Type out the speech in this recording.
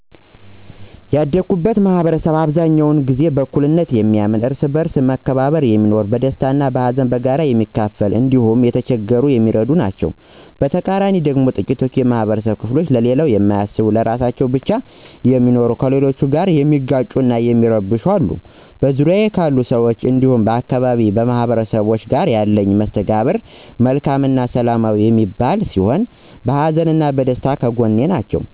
ያደኩበት ማህበረሰብ በአብዛኛው በእኩልነት የሚያምኑ፣ እርስ በእርስ በመከባበር የሚኖሩ፣ ደስታን እና ሀዘንን በጋራ የሚካፈሉ እንዲሁም የተቸገረን የሚረዱ ናቸዉ። በተቃራኒው ደግሞ ጥቂት የማህበረብ ክፍሎች ለሌላው የማያስቡ ለራሳቸው ብቻ የሚኖሩ፣ ከሌሎች ጋር የሚጋጩ እና የሚረብሹ አሉ። በዙሪያዬ ካሉ ሰዎች እንዲሁም የአካባቢዬ ማህበረሰቦች ጋር ያለኝ መስተጋብር መልካም እና ሰላማዊ የሚባል ሲሆን በሀዘንም በደስታም ከጐኔ ናቸው።